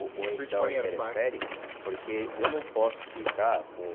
Ou ou então interfere, porque eu não posso ficar com...